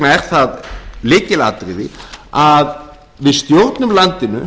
er það lykilatriði að við stjórnum landinu